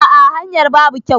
A'a hanyar babu kyau.